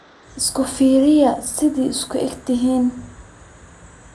Isfiriya sidhaa isku eghtixin.